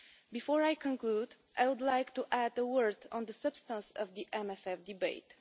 Before I conclude, I would like to add a word on the substance of the MFF debate.